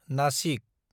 Nashik